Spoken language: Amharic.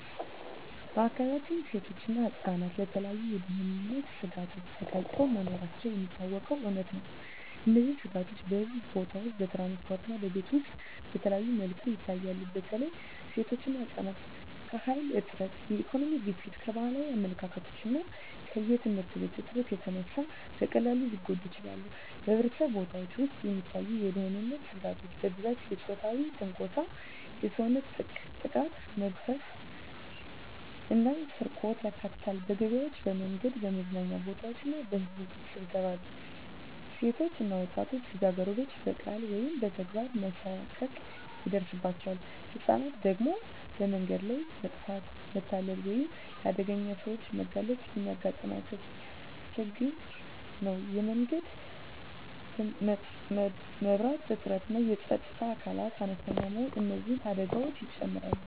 በአካባቢያችን ሴቶችና ህፃናት ለተለያዩ የደህንነት ስጋቶች ተጋልጠው መኖራቸው የሚታወቀው እውነታ ነው። እነዚህ ስጋቶች በሕዝብ ቦታዎች፣ በትራንስፖርት እና በቤት ውስጥ በተለያዩ መልኩ ይታያሉ። በተለይ ሴቶችና ህፃናት ከኃይል እጥረት፣ ከኢኮኖሚ ግፊት፣ ከባህላዊ አመለካከቶች እና ከየትምህርት እጥረት የተነሳ በቀላሉ ሊጎዱ ይችላሉ። በሕዝብ ቦታዎች ውስጥ የሚታዩ የደህንነት ስጋቶች በብዛት የፆታዊ ትንኮሳ፣ የሰውነት ጥቃት፣ መግፈፍ እና ስርቆትን ያካትታሉ። በገበያዎች፣ በመንገዶች፣ በመዝናኛ ቦታዎች እና በሕዝብ ስብሰባዎች ሴቶች እና ወጣት ልጃገረዶች በቃላት ወይም በተግባር መሳቀቅ ይደርሳባቸዋል። ህፃናት ደግሞ በመንገድ ላይ መጥፋት፣ መታለፍ ወይም ለአደገኛ ሰዎች መጋለጥ የሚያጋጥማቸው ችግር ነው። የመንገድ መብራት እጥረትና የፀጥታ አካላት አነስተኛ መኖር እነዚህን አደጋዎች ይጨምራሉ።